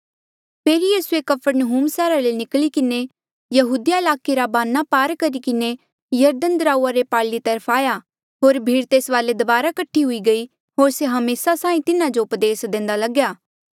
फेरी यीसूए कफरनहूम सैहरा ले निकली किन्हें यहूदिया ईलाके रा बन्ना पार करी किन्हें यरदन दराऊआ रे पारली तरफ आया होर भीड़ तेस वाले दबारा कठी हुई गयी होर से हमेसा साहीं तिन्हा जो उपदेस देंदा लग्या